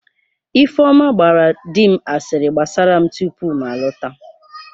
Ifeoma gbaara di m asịrị gbasara m tupu m alọta